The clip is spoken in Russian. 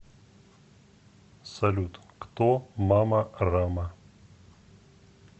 салют кто мама рама